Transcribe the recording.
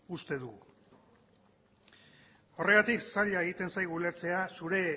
uste dugu horregatik zaila egiten zaigu ulertzea zure